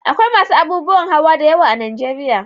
Akwai masu abubuwan hawa da yawa a Najeriya.